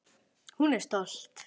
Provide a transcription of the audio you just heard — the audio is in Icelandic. Hún er stolt.